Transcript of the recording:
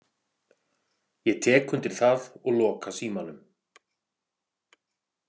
Ég tek undir það og loka símanum.